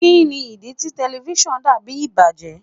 Kini idi ti tẹlifisiọnu dabi ibajẹ?